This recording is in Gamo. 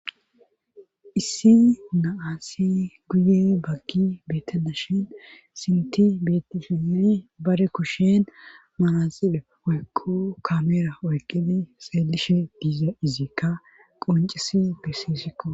Issi naassi guye baggi beetena shin sinti betishii bare kushen manaxile oykko kameera oyqini seelishe diiza iziikka qoncisi besissikko.